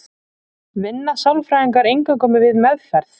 Vinna sálfræðingar eingöngu við meðferð?